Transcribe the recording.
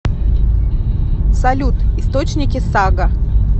салют источники сага